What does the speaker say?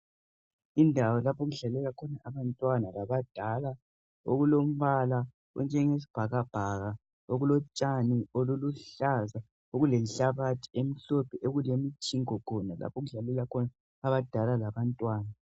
Indawo lapho okudlalela khona abantwana labadala okulombala onjengesibhakabhaka okulotshani oluluhlaza okulenhlabathi emhlophe okulemjingo khona lapho okudlalela khona abadala labantwana